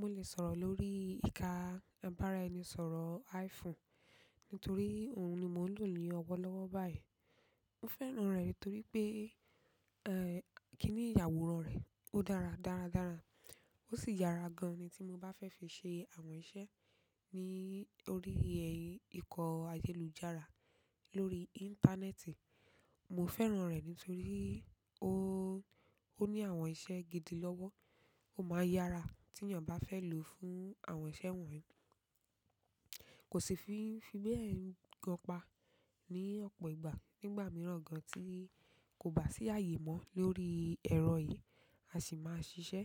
Mo le sọ̀rọ̀ lórí ìka ìbáraẹnisọ̀rọ̀ iPhone, nítorí òun ni mò ń lò ní ọwọ́ lọ́wọ́ báyìí. Mo fẹ́ràn re nitoripe, kini àwòrán re o dára dára dára, o si yara gan-an ni ti mo ba fe fi se àwọn iṣẹ́ ni orí iko ayélujára lórí íńtánẹ́ẹ̀tì. Mo fẹ́ràn rẹ̀ nítorí ó, ó ní àwọn iṣẹ́ gidi lọ́wọ́, ó máa ń yára tí ènìyàn bá fẹ́ lò fún àwọn iṣẹ́ wọ̀nyí. Kò sì fi ń fi bẹ́ẹ̀ n gan pa ní ọ̀pọ̀ ìgbà. Nígbà mìíràn gan tí kò bá sí ààyè mọ́ lórí ẹ̀rọ yìí, a sì máa ṣiṣẹ́.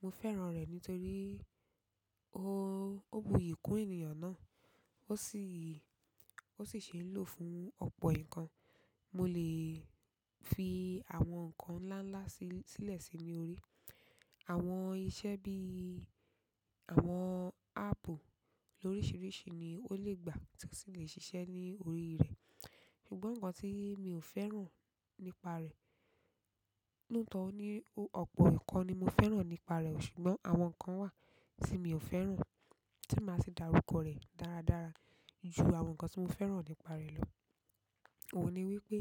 Mo fẹ́ràn rẹ̀ nítorí, ó bu iyì kún ènìyàn naá. Ó sì, ó sì ṣe ń lò fún ọ̀pọ̀ nǹkan. Mo lè fi àwọn nǹkan ńláńlá si sílẹ̀ sí ní orí. Àwọn iṣẹ́ bí i àwọn áàpù lóríṣiríṣi ni ó lè gbà tí ó sì lè ṣiṣẹ́ ní orí rẹ̀. Ṣùgbọ́n nǹkan tí mi ò fẹ́ràn nípa rẹ̀, looto ní o-- ọ̀pọ̀ nkan ni mo fẹ́ràn nípa rẹ̀, ṣùgbọ́n àwọn nǹkan wà tí mi ò fẹ́ràn tí máa sì darúkọ rẹ̀ dáradára ju àwọn nǹkan tí mo fẹ́ràn nípa rẹ̀ lọ. Óun ni wípé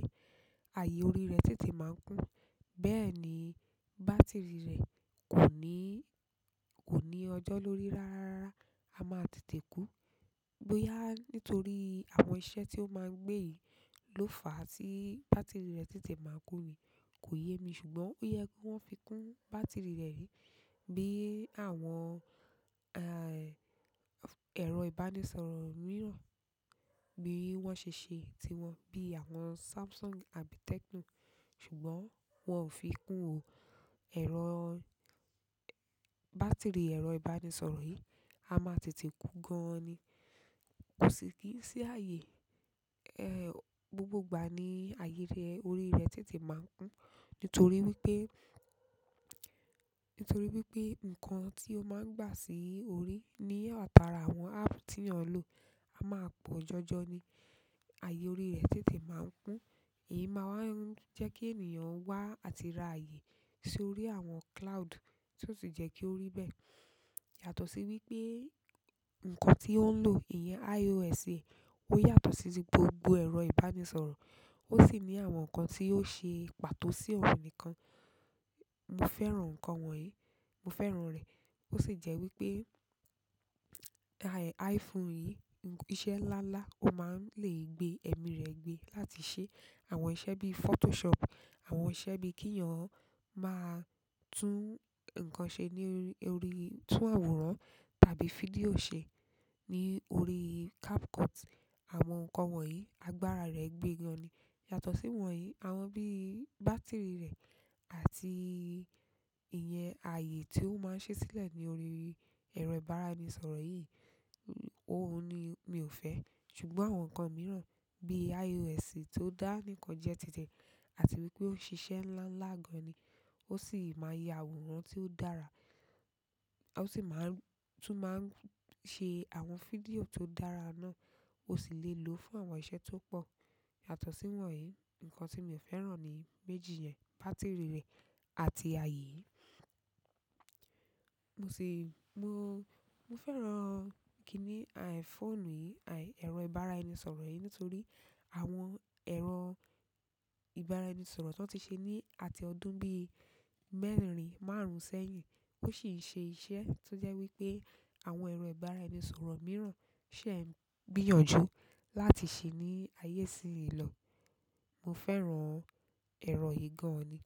ààyè orín rẹ̀ tètè máa ń kún, bẹ́ẹ̀ ni bátìrì rẹ̀ kò ní, kò ní ọjọ́ lórí rárárara. A máa tètè kú. Boyá nítorí àwọn iṣẹ́ tí ó máa ń gbé yìí ló fà á tí bátìrì rẹ̀ tètè máa ń kún ní. Kò yé mi ṣùgbọ́n ó yẹ ki won fi kún bátìrì rẹ̀ rí bí àwọn, ẹ̀rọ ìbánisọ̀rọ̀ mìíràn bí wọ́n ṣe ṣe ti wọn bí àwọn Samsung àbí Tecno. Ṣùgbọ́n wọn ò fi kún ò ẹ̀rọ, bátìrì ẹ̀rọ ìbánisọ̀rọ̀ yìí. A máa tètè kú gan ni. Kò sì kí i n sí ààyè, gbogbo ìgbà ní ààyè ti e orí rẹ̀ tètè máa ń kún. Nítorí wípé, nítorí wípé nǹkan tí ó máa ń gbà sí orí ní atara àwọn áàpù tí èeyàn ń lò, a máa pọ̀ jọjọ ni. Ààyè orí rẹ̀ títí máa ń kún. Èyí máa wá ń jẹ́ kí ènìyàn wá àti ra ààyè sí orí àwọn cloud tí ó sì jẹ́ kí ó rí bẹ́ẹ̀. Yàtọ̀ sí wípé nǹkan tí ó ń lò iyẹn iOS e, ó yàtọ̀ sí ti gbogbo ẹ̀rọ ìbánisọ̀rọ̀. Ó sì ní àwọn nǹkan tí yóò ṣe pàtó sí òun nìkan. Mo fẹ́ràn nǹkan wọ̀nyí, mo fẹ́ràn rẹ̀. Ó sì jẹ́ wípé, iPhone yìí, iṣẹ́ ńláńlá ó máa ń lè gbé ẹ̀mí rẹ̀ gbé láti ṣe àwọn iṣẹ́ bí i Photoshop, àwọn iṣẹ́ bí i kíi'yàn máa tún nǹkan ṣe ní orí, tún àwòrán tàbí fídíò ṣe ní orí CapCut. Àwọn nǹkan wọ̀nyí agbára rẹ̀ gbé gan ni. Yàtọ̀ sí wọ̀nyí, àwọn bí i bátìrì rẹ̀ àti ìyẹn ààyè tí ó máa ń ṣi sílẹ̀ ní orí ẹ̀rọ ìbáraẹnisọ̀rọ̀ yìí, òun ni mi ò fẹ́. Ṣùgbọ́n àwọn nǹkan mìíràn bí i iOS tó dá níkan jẹ títi ẹ àti wípé ó n ṣiṣẹ́ ńláńlá gan ni. Ó sì máa n yà àwòrán tí ó dára. Ó sì máa ń tún máa ń sẹ́ àwọn fídíò tó dára náà. Ó sì lè lò fún àwọn iṣẹ́ tó pọ̀. Yàtọ̀ sí wọ̀nyí, nǹkan tí mi ò fẹ́ràn ni méjì yẹn, bàtiri rẹ̀ àti ààyè yìí. Mo sì, mo, mo fẹ́ràn kíni fóònù yìí, ẹ̀rọ ìbáraẹnisọ̀rọ̀ yìí nítorí àwọn ẹ̀rọ ìbáraẹnisọ̀rọ̀ tan ti ṣe ní àti ọdún bí i mẹ́rìn, márùn-ún sẹ́yìn. Ó sì ń ṣe iṣẹ́ tó jẹ́ wípé àwọn ẹ̀rọ ìbáraẹnisọ̀rọ̀ mìíràn ṣẹ̀ ń gbìyànjú láti ṣe ní ayé sí ìlò. Mo fẹ́ràn ẹ̀rọ yìí gan ni.